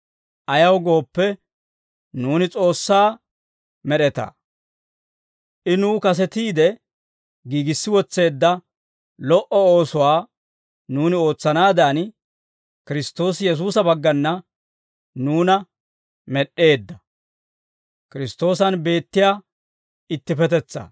Ayaw gooppe, nuuni S'oossaa med'etaa; I nuw kasetiide giigissi wotseedda lo"o oosuwaa nuuni ootsanaadan, Kiristtoosi Yesuusa baggana nuuna med'd'eedda.